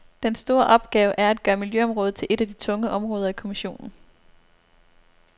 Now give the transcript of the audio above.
Den store opgave er at gøre miljøområdet til et af de tunge områder i kommissionen.